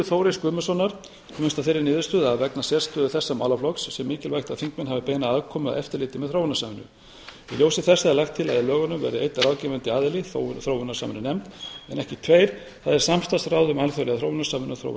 þóris guðmundssonar komist að þeirri niðurstöðu að vegna sérstöðu þessa málaflokks sé mikilvægt að þingmenn hafi beina aðkomu að eftirliti með þróunarsamvinnu í ljósi þessa er lagt til að í lögunum verði einn ráðgefandi aðili þróunarsamvinnunefnd en ekki tveir það er samstarfsráð um alþjóðlega þróunarsamvinnu og